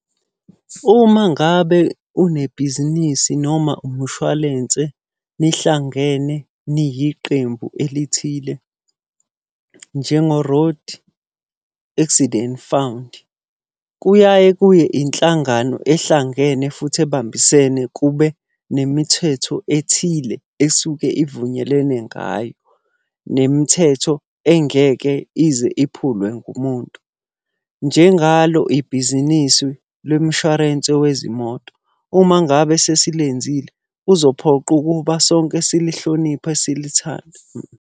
Uma ngabe unebhizinisi noma umushwalense, nihlangene, niyiqembu elithile njengo-Road Accident Fund. Kuyaye kube inhlangano ehlangene futhi ebambisene kube nemithetho ethile esuke ivunyelwene ngayo. Nemithetho engeke ize iphulwe ngumuntu. Njengalo ibhizinisi lemshwarense wezimoto. Uma ngabe sesilenzile, kuzophoqa ukuba sonke silihloniphe silithande.